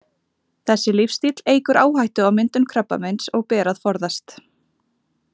Þessi lífsstíll eykur áhættu á myndun krabbameins og ber að forðast.